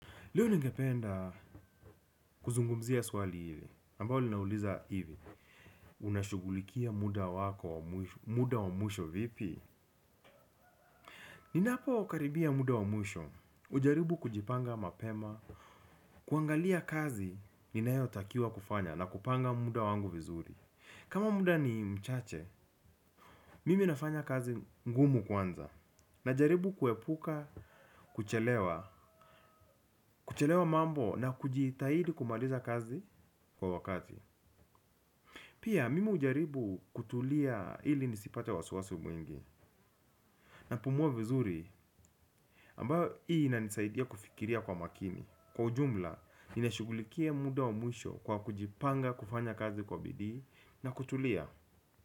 Leo ningependa kuzungumzia swali hili, ambalo linauliza hivi, unashughulikia muda wako, muda wa mwisho vipi? Ninapokaribia muda wa mwisho, hujaribu kujipanga mapema, kuangalia kazi ninayotakiwa kufanya na kupanga muda wangu vizuri. Kama muda ni mchache, mimi nafanya kazi ngumu kwanza, najaribu kuepuka kuchelewa, kuchelewesha mambo na kujitahidi kumaliza kazi kwa wakati. Pia, mimi hujaribu kutulia ili nisipate wasiwasi mwingi. Napumua vizuri, ambayo hii inanisaidia kufikiria kwa makini. Kwa ujumla, ninashughulikia muda wa mwisho kwa kujipanga, kufanya kazi kwa bidii na kutulia.